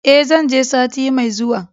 E, zan je sati mai zuwa.